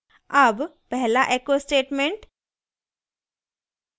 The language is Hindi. अब पहला echo statement